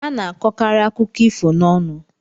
A na-akọkarị akụkọ ifo n'ọnụ.